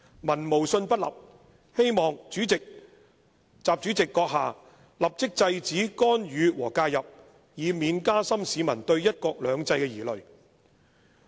民無信不立，希望閣下立即制止干預和介入，以免加深市民對'一國兩制'的疑慮。